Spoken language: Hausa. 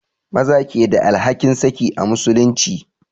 Maza ke da alhakin saki a musulunci